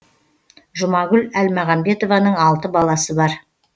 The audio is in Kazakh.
жұмагүл әлмағанбетованың алты баласы бар